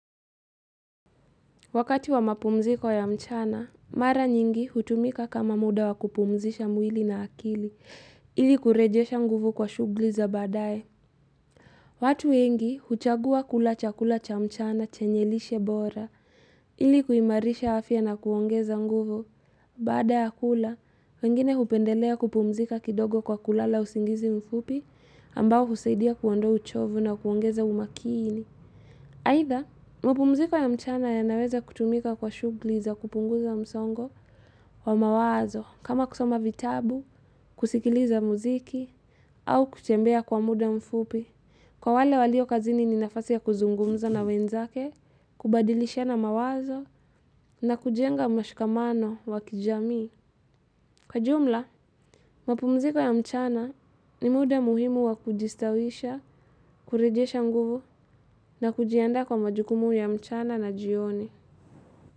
Wakati wa mapumziko ya mchana, mara nyingi hutumika kama muda wa kupumzisha mwili na akili, ili kurejesha nguvu kwa shughuli za badae. Watu wengi huchagua kula chakula cha mchana chenye lishe bora, ili kuimarisha afya na kuongeza nguvu. Baada ya kula, wengine hupendelea kupumzika kidogo kwa kulala usingizi mfupi ambao husaidia kuondoa uchovu na kuongeza umakini. Either, mapumziko ya mchana yanaweza kutumika kwa shughuli za kupunguza msongo wa mawazo kama kusoma vitabu, kusikiliza muziki, au kutembea kwa muda mfupi. Kwa wale walio kazini ni nafasi ya kuzungumza na wenzake, kubadilishana mawazo na kujenga mashikamano wa kijamii. Kwa jumla, mapumziko ya mchana ni muda muhimu wa kujistawisha, kurejesha nguvu na kujiandaa kwa majukumu ya mchana na jioni.